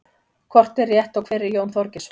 hvort er rétt og hver er jón þorgeirsson